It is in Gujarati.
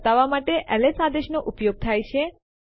ઘણા વિકલ્પો છે કે સીપી સાથે આવે છે